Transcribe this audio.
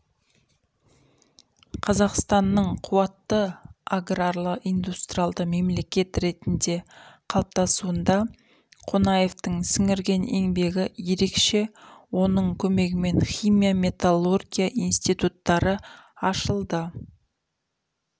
қазақстанның қуатты аграрлы-индустриалды мемлекет ретінде қалыптасуында қонаевтың сіңірген еңбегі ерекше оның көмегімен химия металлургия инститтутары ашылды